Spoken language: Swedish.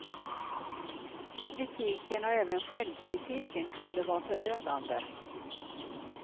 Kritiken och även självkritiken kunde vara förödande.